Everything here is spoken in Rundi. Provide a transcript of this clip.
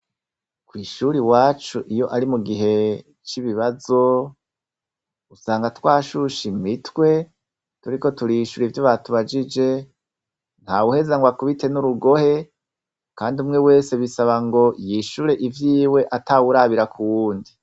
Ku ishuri iwacu iyo ari mugihe c'ibibazo usanga twashushe imitwe turiko turishura ivyo batubajije ntawuheza ngo akubite n'urugohe kandi mwe wese bisaba ngo yishure ivyiwe atawurabira ku wundi.